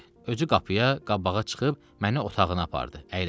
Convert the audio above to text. Özü qapıya qabağa çıxıb məni otağına apardı.